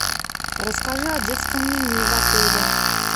расскажи о детском меню в отеле